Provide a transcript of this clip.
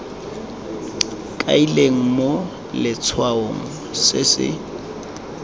kailweng mo letshwaong se se